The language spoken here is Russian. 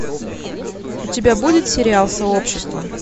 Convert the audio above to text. у тебя будет сериал сообщество